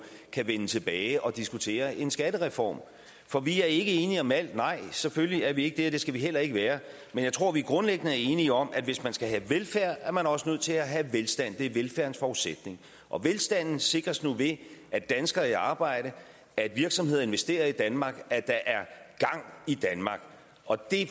kan vende tilbage og diskutere en skattereform for vi er ikke enige om alt nej selvfølgelig er vi ikke det og det skal vi heller ikke være men jeg tror vi grundlæggende er enige om at hvis man skal have velfærd er man også nødt til at have velstand det er velfærdens forudsætning og velstanden sikres nu ved at danskere er i arbejde at virksomheder investerer i danmark at der er gang i danmark og det